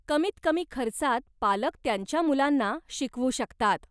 कमीत कमी खर्चात पालक त्यांच्या मुलांना शिकवू शकतात.